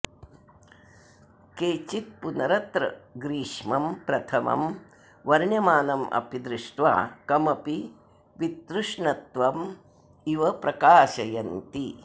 केचित्पुनरत्र ग्रीष्मं प्रथमं वर्ण्यमानमपि दृष्ट्वा कमपि वितृष्णत्वमिव प्रकाशयन्ति